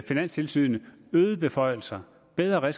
finanstilsynet øgede beføjelser bedre